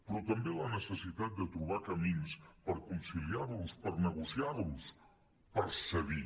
però també la necessitat de trobar camins per conciliar·los per negociar·los per cedir